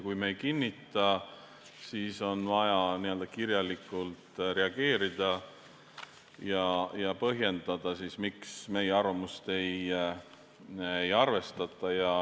Kui me ei kinnita, siis on vaja kirjalikult reageerida ja põhjendada, miks meie arvamust ei arvestata.